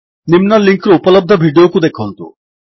ନିମ୍ନ ଲିଙ୍କ୍ ରେ ଉପଲବ୍ଧ ଭିଡିଓକୁ ଦେଖନ୍ତୁ